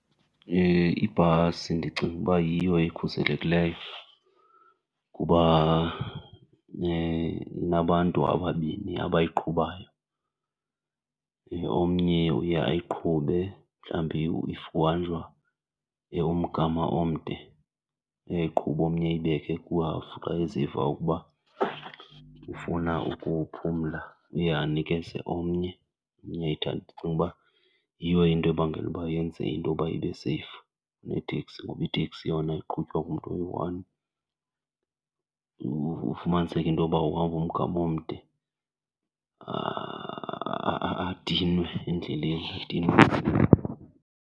Ibhasi ndicinga uba yiyo ekhuselekileyo kuba inabantu ababini abayiqhubayo. Omnye uye ayiqhube mhlawumbi if uhanjwa umgama omde uyayiqhuba omnye ayibeke kuhafu, xa eziva ukuba ufuna ukuphumla uye anikeze omnye, omnye ayithathe. Ndicinga uba yiyo into ebangela uba yenze intoba ibe seyifu kuneteksi ngoba iteksi yona iqhutywa ngumntu oyi-one, ufumaniseke into yoba uhamba umgama omde adinwe endleleni, adinwe.